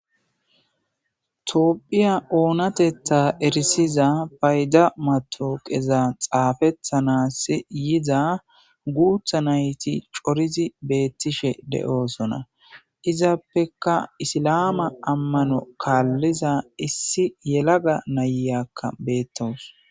Tophphiya oonattetha erissiza fayda matawakka xaafetanas yiiza guutha nayti coridi bettishe de'ossona izappeka issilame ammano kalliza issi yellaga na'iyakka betteawussu.